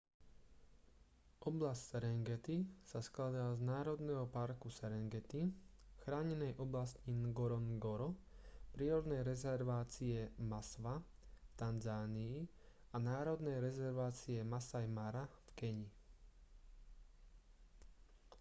oblasť serengeti sa skladá z národného parku serengeti chránenej oblasti ngorongoro prírodnej rezervácie maswa v tanzánii a národnej rezervácie masai mara v keni